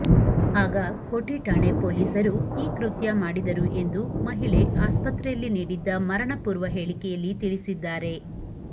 ಆಗ ಕೋಠಿಠಾಣೆ ಪೊಲೀಸರು ಈ ಕೃತ್ಯ ಮಾಡಿದರು ಎಂದು ಮಹಿಳೆ ಆಸ್ಪತ್ರೆಯಲ್ಲಿ ನೀಡಿದ್ದ ಮರಣಪೂರ್ವ ಹೇಳಿಕೆಯಲ್ಲಿ ತಿಳಿಸಿದ್ದಾರೆ